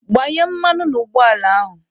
Gbanye mmanụ n'ụgbọ ala ahụ!